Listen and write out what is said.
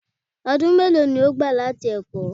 Ọdún mélòó ni ó gbà láti ẹ̀kọ́?